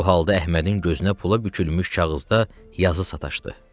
Bu halda Əhmədin gözünə pula bükülmüş kağızda yazı sataşdı.